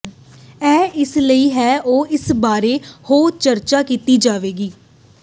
ਇਹ ਇਸ ਲਈ ਹੈ ਉਹ ਇਸ ਬਾਰੇ ਹੋਰ ਚਰਚਾ ਕੀਤੀ ਜਾਵੇਗੀ